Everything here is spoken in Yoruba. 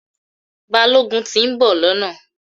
Balógun ti ń bò lọ́nà